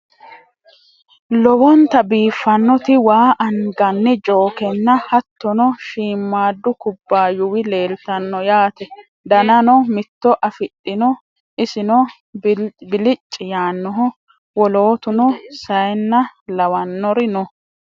Lowonta biiffannoti waa anganni jookenna hattono shiimmadu kubbaayuwi leeltanno yaate danano mitto afidhino isino bilici yaannoho wolootuno sayiinna laannori no